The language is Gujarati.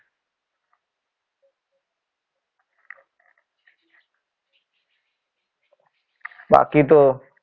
બાકી તો.